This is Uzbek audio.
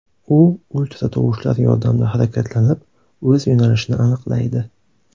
U ultratovushlar yordamida harakatlanib, o‘z yo‘nalishini aniqlaydi.